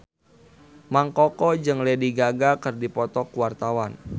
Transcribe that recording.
Mang Koko jeung Lady Gaga keur dipoto ku wartawan